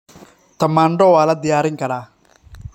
Tamaandho waa la diyaarin karaa.